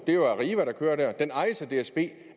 det er arriva der kører der men den ejes af dsb